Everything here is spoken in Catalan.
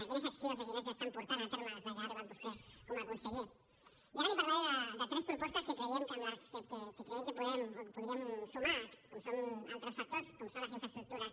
quines accions de sinèrgia estan portant a terme des que ha arribat vostè com a conseller i ara li parlaré de tres propostes que creiem que podem o podríem sumar com són altres factors com són les infraestructures